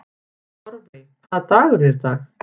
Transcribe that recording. Torfey, hvaða dagur er í dag?